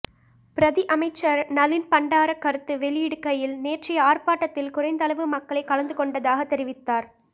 பிரதி அமைச்சர் நளீன் பண்டார கருத்து வெளியிடுகையில் நேற்றைய ஆர்ப்பாட்டத்தில் குறைந்தளவு மக்களே கலந்து கொண்டதாகத் தெரிவித்தார்